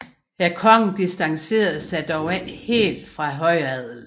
Kongen distancerede sig dog ikke helt fra højadelen